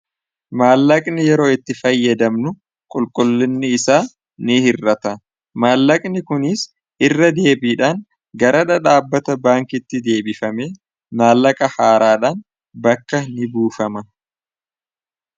maallaqni yeroo itti fayyadamnu qulqullinni isaa ni hirrata maallaqni kuniis irra deebiidhaan garadha dhaabbata baankitti deebifame maallaqa haaraadhaan bakka ni buufama